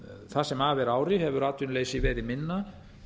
það sem af er ári hefur atvinnuleysi verið minna